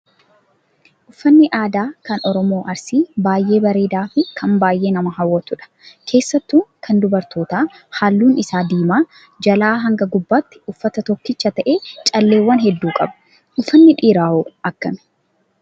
Uffanni aadaa kan oromoo Arsii baay'ee bareedaa fi kan baay'ee nama hawwatudha. Keessattuu kan dubarootaa halluun isaa diimaa jalaa haga gubbaatti uffata tokkicha ta'ee calleewwan hedduu qaba. Uffanni dhiiraa hoo akkami?